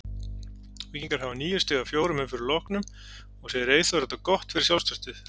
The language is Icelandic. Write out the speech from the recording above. Víkingar hafa níu stig af fjórum umferðum loknum og segir Eyþór þetta gott fyrir sjálfstraustið.